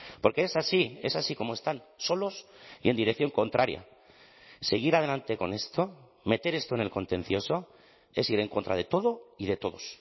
porque es así es así como están solos y en dirección contraria seguir adelante con esto meter esto en el contencioso es ir en contra de todo y de todos